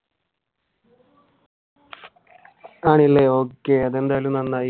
ആണല്ലേ okay അതെന്തായാലും നന്നായി.